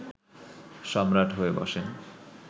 সম্রাট হয়ে বসেন